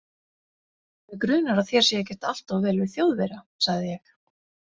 Mig grunar að þér sé ekkert allt of vel við Þjóðverja, sagði ég.